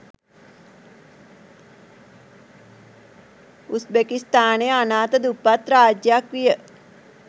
උස්‌බෙකිස්‌තානය අනාථ දුප්පත් රාජ්‍යයක්‌ විය